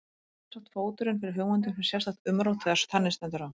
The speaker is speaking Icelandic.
Það er sjálfsagt fóturinn fyrir hugmyndum um sérstakt umrót þegar þannig stendur á.